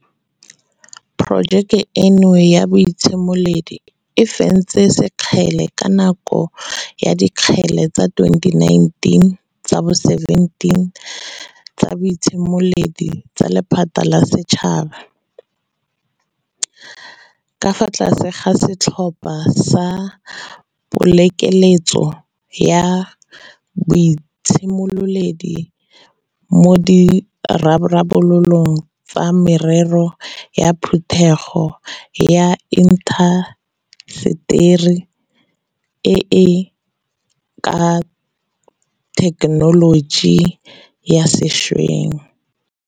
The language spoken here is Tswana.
Porojeke eno ya boitshimoledi e fentse sekgele ka nako ya Dikgele tsa 2019 tsa bo 17 tsa Boitshimoledi tsa Lephata la Setšhaba, ka fa tlase ga setlhopha sa Pokeletso ya Boitshimololedi mo Ditharabololong tsa Merero ya Phetogo ya Inta seteri e e ka ga Thekenoloji ya Sešweng, 4IR.